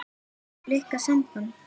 Höfðu Blikar samband?